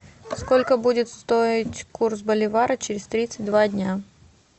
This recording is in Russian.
сколько будет стоить курс боливара через тридцать два дня